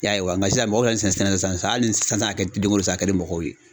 I y'a ye wa. Nga sisan mɔgɔw y'a sɛnɛ sisan. Hali ni sisan a kɛdenko san a kɛ di mɔgɔw ye.